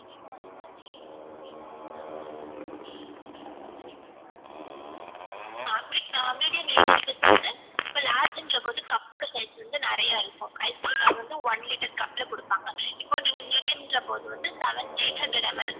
ஆஹ் medium eighty rupees வந்து இப்போ large ன்ற போது cup ஓட size வந்து நிறையா இருக்கும் ice cream அது வந்து one litre cup ல குடுப்பாங்க இப்போ நீங்க medium ன்ற போது seven eight hundred ml